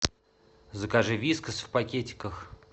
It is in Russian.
закажи вискас в пакетиках